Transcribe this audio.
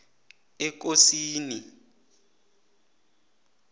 ekosini